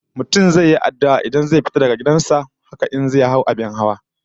Mutum zai yi addu'a idan zai fita daga gidan sa, haka in zai hau abin hawa